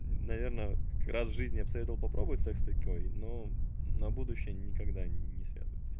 наверное раз жизни я бы советовал попробовать секс с такой но на будущее никогда не связываться с